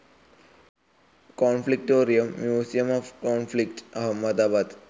Conflictorium, museum of conflict, Ahmedabad